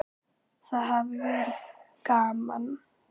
Það hafi verið gaman.